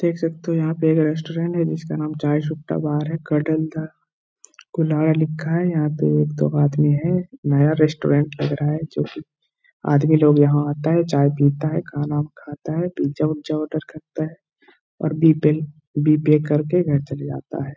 देख सकते हो यहाँ पे एक रेस्टोरेंट है जिसका नाम चाय सुट्टा बार है। कडल दा कुल्हड़ लिखा है। यहाँ पे एक दो आदमी है। नया रेस्टोरेंट लग रहा है जो कि आदमी लोग यहाँ आता है चाय पीता है खाना खाता है पिज़्ज़ा विज़्ज़ा ऑर्डर करता है और बी पेन बिल पे करके घर चला जाता है।